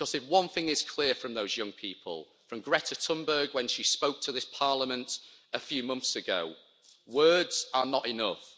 Because if one thing is clear from those young people, from Greta Thunberg when she spoke to this Parliament a few months ago, words are not enough.